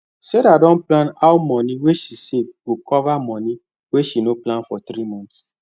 sarah don plan how money wey she save go cover money wey she no plan for three months